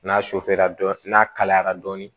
N'a n'a kalayara dɔɔnin